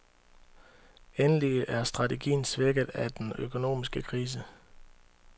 Endelig er strategien svækket af den økonomiske krise.